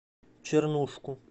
чернушку